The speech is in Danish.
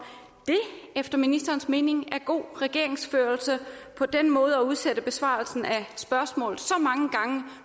det efter ministerens mening er god regeringsførelse på den måde at udsætte besvarelsen af spørgsmål